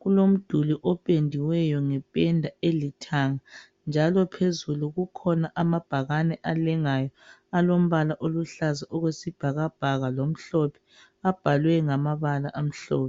kulomduli opendiweyo ngependa elithanga njalo phezulu kukhona amabhakane alengayo alombala oluhlaza okwesibhakabhaka lamhlophe abhalwe ngamabala amhlophe.